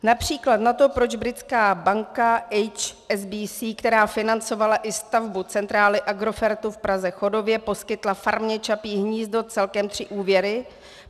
Například na to, proč britská banka HSBC, která financovala i stavbu centrály Agrofertu v Praze Chodově, poskytla farmě Čapí hnízdo celkem tři úvěry.